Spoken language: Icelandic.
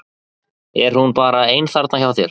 Er hún bara ein þarna hjá þér?